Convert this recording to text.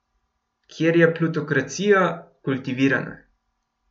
Kjer je plutokracija kultivirana.